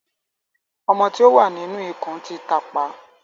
Ọmọ tí o wá nínú ikùn tí tápà.